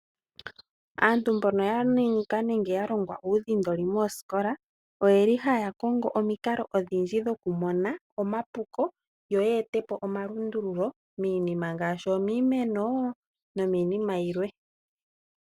Aantu mbono ya ninga nenge ya longwa uudhindoli mooskola oyeli haya kongo omikalo odhindji dhokumona omapuko yo oye ete po omalundululo minima ngashi omimeno nominima yimwe.